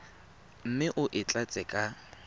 mme o e tlatse ka